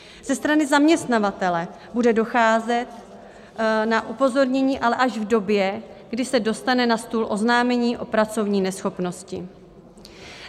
Ze strany zaměstnavatele bude docházet na upozornění, ale až v době, kdy se dostane na stůl oznámení o pracovní neschopnosti.